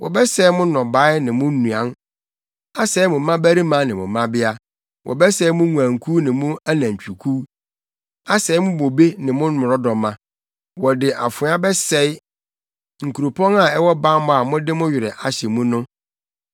Wɔbɛsɛe mo nnɔbae ne mo nnuan, asɛe mo mmabarima ne mo mmabea; wɔbɛsɛe mo nguankuw ne mo anantwikuw, asɛe mo bobe ne mo mmrɔdɔma. Wɔde afoa bɛsɛe nkuropɔn a ɛwɔ bammɔ a mode mo werɛ ahyɛ mu no.